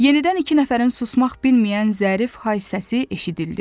Yenidən iki nəfərin susmaq bilməyən zərif hay səsi eşidildi.